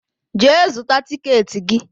Jee zụta tịketị gị!